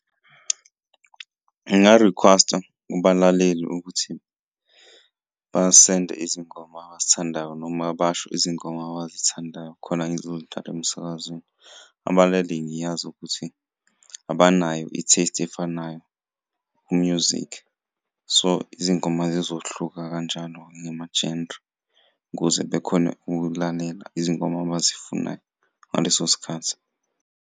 Ngingarikhwesta kubalaleli ukuthi basende izingoma abazithandayo noma basho izingoma abazithandayo khona ngizoy'dlala emsakazweni. Abalaleli ngiyazi ukuthi abanayo i-taste efanayo ku-music so, izingoma zizohluka kanjalo ngama-genre ukuze bekhone ukulalela izingoma abazifunayo ngaleso sikhathi.